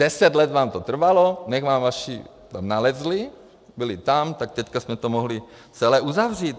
Deset let vám to trvalo, než vám vaši tam nalezli, byli tam, tak teď jsme to mohli celé uzavřít.